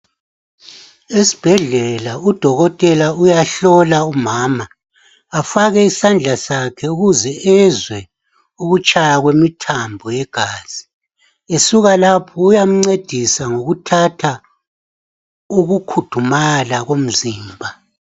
Esbhedlela udokotela uyahlola umama. Afake isandla sakhe ukuze ezwe ukutshaya kwemithambo yegazi. Esuka lapho uyamncedisa ngokuthatha ukukhudumala komzimba.